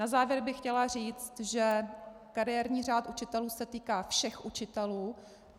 Na závěr bych chtěla říct, že kariérní řád učitelů se týká všech učitelů.